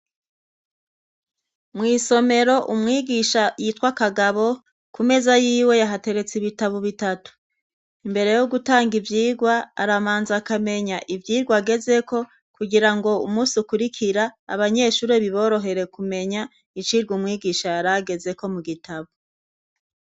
Mw'isomero umwigisha yitwa kagabo, ku meza yiwe hateretse ibitabo bitatu. Imbere yo gutanga ivyigwa, arabanza akamenya ivyirwa agezeko, kugira ngo umunsi ukurikira, abanyeshuri biborohere kumenya icirwa umwigisha yaragezeko mu gitabo.